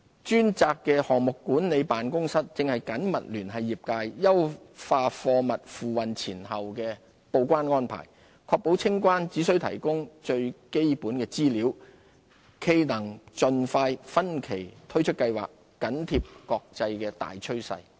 專責的項目管理辦公室正緊密聯繫業界，優化貨物付運前後的報關安排，確保清關只須提供最基本資料，冀能盡快分期推出計劃，緊貼國際大趨勢。